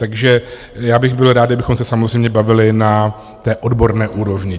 Takže já bych byl rád, kdybychom se samozřejmě bavili na té odborné úrovni.